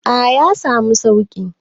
A yasamu sauƙi